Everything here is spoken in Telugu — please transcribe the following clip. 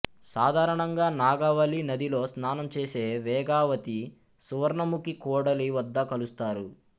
సాధారణంగా నాగావళి నదిలో స్నానం చేసే వేగావతి సువర్ణముఖి కూడలి వద్ద కలుస్తారు